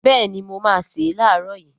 Béèni mo máá se lààrọ̀ yii